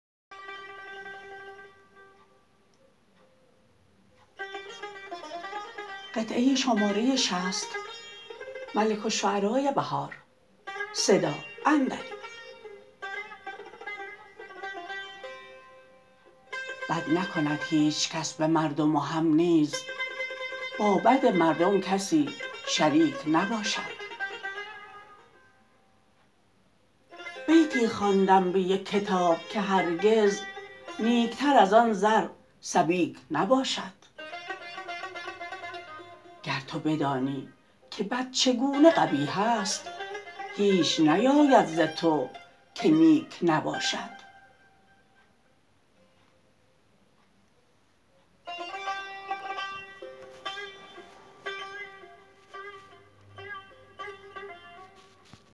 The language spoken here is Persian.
بد نکند هیچ کس به مردم و هم نیز با بد مردم کسی شریک نباشد بیتی خواندم به یک کتاب که هرگز نیک تر از آن زر سبیک نباشد گر تو بدانی که بد چگونه قبیح است هیچ نیاید ز تو که نیک نباشد